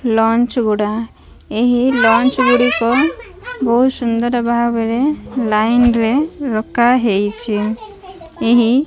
launch ଗୁଡା ଏହି launch ଗୁଡ଼ିକ ବହୁତ ସୁନ୍ଦର ଭାବେରେ ଲାଇନ ରେ ରଖାହେଇଚି ଏହି -- ଲଞ୍ଚ ଗୁଡା ଏହି ଲଞ୍ଚ ଗୁଡ଼ିକ ବହୁତ ସୁନ୍ଦର ଭାବେରେ ଲାଇନ ରେ ରଖାହେଇଚି ଏହି --